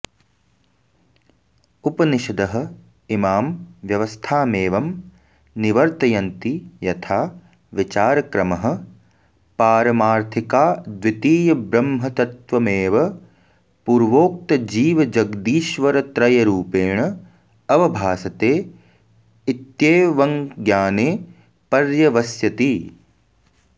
उपनिषदः इमां व्यवस्थामेवं निर्वर्तयन्ति यथा विचारक्रमः पारमार्थिकाद्वितीयब्रह्मतत्त्वमेव पूर्वोक्तजीवजगदीश्वरत्रयरूपेण अवभासते इत्येवंज्ञाने पर्यवस्यति